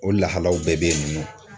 O lahalaw bɛɛ be yen nɔ